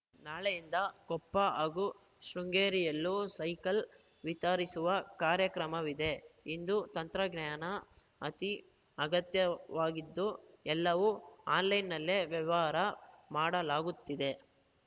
ನಾಳೆಯಿಂದ ಕೊಪ್ಪ ಹಾಗೂ ಶೃಂಗೇರಿಯಲ್ಲೂ ಸೈಕಲ್‌ ವಿತರಿಸುವ ಕಾರ್ಯಕ್ರಮವಿದೆ ಇಂದು ತಂತ್ರಜ್ಞಾನ ಅತಿ ಅಗತ್ಯವಾಗಿದ್ದು ಎಲ್ಲವೂ ಆನ್‌ಲೈನ್‌ನಲ್ಲೇ ವ್ಯವಹಾರ ಮಾಡಲಾಗುತ್ತಿದೆ